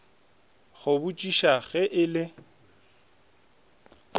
go botšiša ge e le